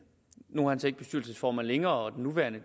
så ikke bestyrelsesformand længere og den nuværende